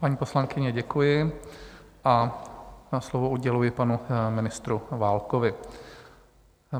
Paní poslankyně, děkuji a slovo uděluji panu ministru Válkovi.